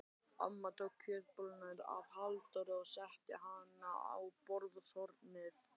Amma tók kjötbolluna af Halldóri og setti hana á borðshornið.